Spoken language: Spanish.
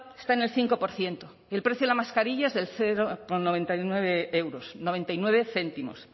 está en el cinco por ciento y el precio de la mascarillas es de cero coma noventa y nueve euros noventa y nueve céntimos